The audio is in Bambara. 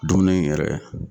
Dumuni yɛrɛ